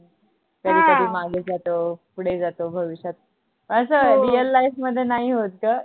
कधी कधी मागे जातो पुढे जातो भविष्यात अस real life मध्ये नाही होत का?